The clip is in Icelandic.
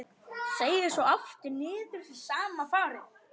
Seig svo aftur niður í sama farið.